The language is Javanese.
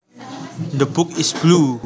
The book is blue